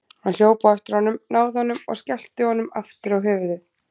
Hann hljóp á eftir honum, náði honum og skellti honum aftur á höfuðið.